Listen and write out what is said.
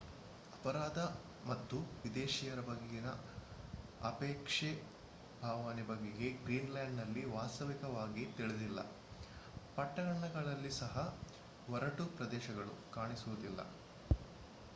ಅಪರಾಧ ಮತ್ತು ವಿದೇಶಿಯರ ಬಗೆಗಿನ ಅಪೇಕ್ಷೆ ಭಾವನೆಯ ಬಗೆಗೆ ಗ್ರೀನ್‌ಲ್ಯಾಂಡ್‌ನಲ್ಲಿ ವಾಸ್ತವಿಕವಾಗಿ ತಿಳಿದಿಲ್ಲ. ಪಟ್ಟಣಗಳಲ್ಲಿ ಸಹ ಒರಟು ಪ್ರದೇಶಗಳು ಕಾಣಸಿಗುವುದಿಲ್ಲ